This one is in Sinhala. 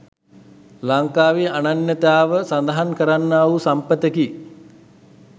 ලංකාවේ අනන්‍යතාව සඳහන් කරන්නා වූ සම්පතකි.